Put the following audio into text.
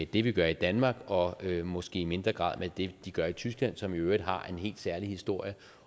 det vi gør i danmark og måske i mindre grad med det de gør i tyskland som i øvrigt har en helt særlig historie